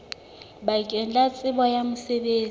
bakeng la tsebo ya mosebetsi